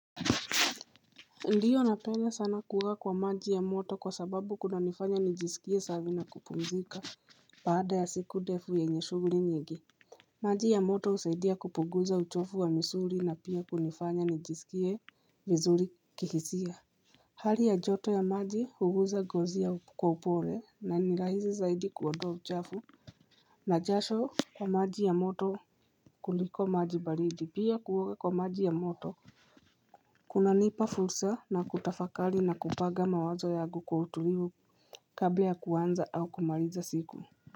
Ndiyo napenda sana kuoga kwa maji ya moto kwa sababu kuna nifanya nijisikie safi na kupumzika baada ya siku ndefu yenye shughuli nyingi maji ya moto husaidia kupuguza uchofu wa misuri na pia kunifanya nijisikie vizuri kihisia hali ya joto ya maji uguza ngozi. Kwa upole na ni rahisi zaidi kuondoa uchafu na jasho ya maji ya moto kuliko maji baridi pia kuoga kwa maji ya moto Kuna nipa fursa na kutafakali na kupanga mawazo yangu kwa utulivu kabla ya kuanza au kumaliza siku.